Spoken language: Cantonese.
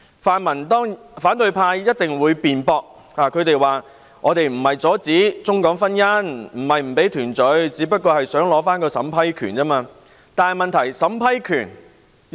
反對派一定會辯駁，說不是阻止中港婚姻、不讓他們團聚，只是想取回單程證審批權而已。